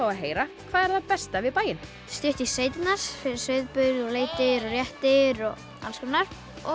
að heyra hvað er það besta við bæinn stutt í sveitirnar fyrir sauðburð leitir og réttir og alls konar